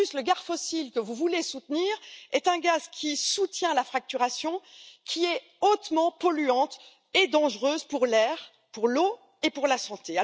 En plus, le gaz fossile que vous voulez soutenir est un gaz qui soutient la fracturation, hautement polluante et dangereuse pour l'air, pour l'eau et pour la santé.